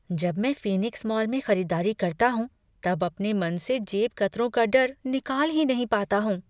जब मैं Phoenix mall में खरीदारी करता हूँ तब अपने मन से जेबकतरों का डर निकाल ही नहीं पाता हूँ।